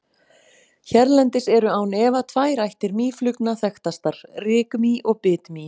Hérlendis eru án efa tvær ættir mýflugna þekktastar, rykmý og bitmý.